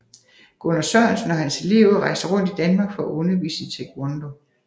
Gunnar Sørensen og hans elever rejste rundt i Danmark for at undervise i Taekwondo